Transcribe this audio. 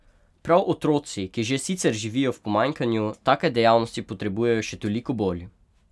Prav otroci, ki že sicer živijo v pomanjkanju, take dejavnosti potrebujejo še toliko bolj!